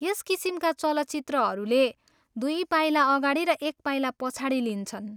यस किसिमका चलचित्रहरूले दुई पाइला अगाडि र एक पाइला पछाडि लिन्छन्।